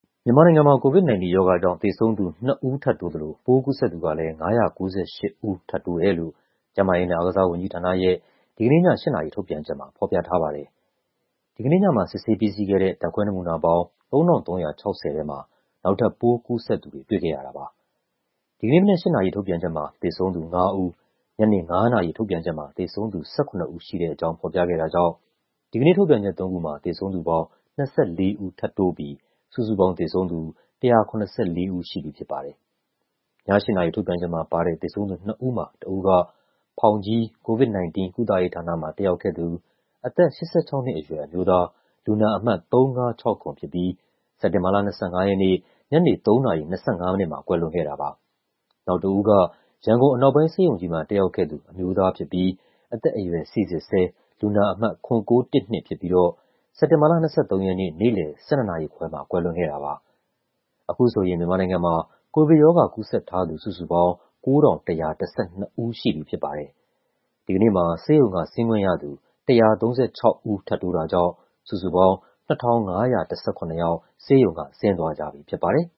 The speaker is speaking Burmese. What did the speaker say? မြန်မာနိုင်ငံမှာ COVID-19 ရောဂါကြောင့် သေဆုံးသူ နှစ်ဦးထပ်တိုးသလို ပိုးကူးစက်သူကလည်း ၅၉၈ ဦးထပ်တိုးတယ်လို့ ကျန်းမာရေးနဲ့ အားကစားဝန်ကြီးဌာနရဲ့ ဒီကနေ့ည ၈ နာရီ ထုတ်ပြန်ချက်မှာ ဖော်ပြထားပါတယ်။ ဒီကနေ့ညမှာ စစ်ဆေးပြီးစီးခဲ့တဲ့ ဓာတ်ခွဲနမူနာပေါင်း ၃,၃၆၀ ထဲမှာ နောက်ထပ် ပိုးကူးစက်သူတွေ တွေ့ခဲ့ရတာပါ။ ဒီကနေ့မနက် ၈ နာရီ ထုတ်ပြန်ချက်မှာ သေဆုံးသူ ၅ ဦး၊ ညနေ ၅ နာရီ ထုတ်ပြန်ချက်မှာ သေဆုံးသူ ၁၇ ဦးရှိတဲ့အကြောင်း ဖော်ပြခဲ့တာကြောင့် ဒီကနေ့ထုတ်ပြန်ချက်သုံးခုမှာ သေဆုံးသူပေါင်း ၂၄ ဦး ထပ်တိုးပြီး စုစုပေါင်းသေဆုံးသူ ၁၇၄ ဦးရှိပြီဖြစ်ပါတယ်။ ည ၈ နာရီထုတ်ပြန်ချက်မှာပါတဲ့ သေဆုံးသူနှစ်ဦးမှာ တစ်ဦးက ဖောင်ကြီး၊ COVID-19 ကုသရေးဌာနမှာ တက်ရောက်ခဲ့သူ အသက် ၈၆ နှစ်အရွယ် အမျိုးသား၊ လူနာအမှတ် ၃၅၆၇ ဖြစ်ပြီး စက်တင်ဘာလ ၂၅ ရက်နေ့၊ ညနေ ၃ နာရီ ၂၅ မိနစ်မှာ ကွယ်လွန်ခဲ့တာပါ။ နောက်တစ်ဦးက ရန်ကုန်အနောက်ပိုင်း ဆေးရုံကြီးမှာ တက်ရောက်ခဲ့သူ အမျိုးသားဖြစ်ပြီး အသက်အရွယ် စိစစ်ဆဲ လူနာအမှတ် ၇,၉၁၂ ဖြစ်ပြီးတော့ စက်တင်ဘာလ ၂၃ ရက်နေ့ နေ့လည် ၁၂ နာရီခွဲမှာ ကွယ်လွန်ခဲ့တာပါ။ အခုဆိုရင် မြန်မာနိုင်ငံမှာ ကိုဗစ်ရောဂါ ကူးစက်ထားသူ စုစုပေါင်း ၉,၁၁၂ ဦးရှိပြီဖြစ်ပါတယ်။ ဒီကနေ့မှာ ဆေးရုံကဆင်းခွင့်ရသူ ၁၃၆ ဦး ထပ်တိုးတာကြောင့် စုစုပေါင်း ၂,၅၁၇ ယောက် ဆေးရုံက ဆင်သွားကြပြီဖြစ်ပါတယ်